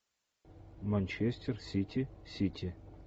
манчестер сити сити